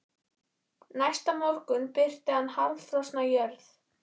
Næsta morgun birti yfir harðfrosna jörð.